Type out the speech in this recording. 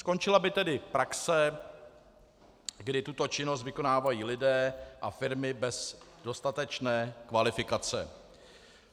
Skončila by tedy praxe, kdy tuto činnost vykonávají lidé a firmy bez dostatečné kvalifikace.